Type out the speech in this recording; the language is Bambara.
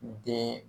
Den